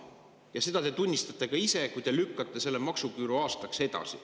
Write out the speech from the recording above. Ja seda te ka ise tunnistate, kui lükkate selle maksuküüru aasta võrra edasi.